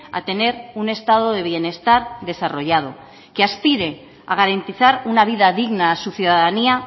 a tener un estado de bienestar desarrollado que aspire a garantizar una vida digna a su ciudadanía